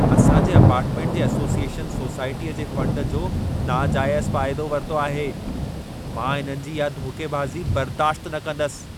असां जे अपार्टमेंट जे एसोसीएशन सोसाइटीअ जे फंड जो नाजाइज़ फाइदो वरितो आहे। मां इन्हनि जो इहा धोखेबाज़ी बर्दाशत न कंदसि।